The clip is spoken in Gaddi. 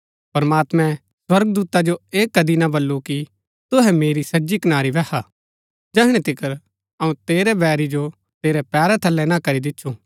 प्रमात्मैं स्वर्गदूता जो ऐह कदी ना बल्लू कि तूहै मेरी सज्जी कनारी बैहा जैहणै तिकर अऊँ तेरै बैरी जो तेरै पैरा थलै ना करी दिच्छु